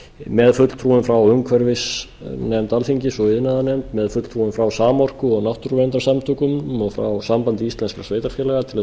með fulltrúum frá umhverfisnefnd alþingis og iðnaðarnefnd með fulltrúum frá samorku og náttúruverndarsamtökum og frá sambandi íslenskum sveitarfélaga til